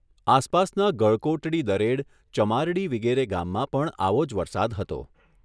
આસપાસના ગળકોટડી દરેડ, ચમારડી વિગેરે ગામમાં પણ આવો જ વરસાદ હતો.